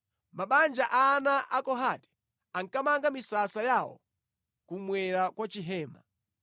Mabanja a ana a Kohati ankamanga misasa yawo kummwera kwa Chihema.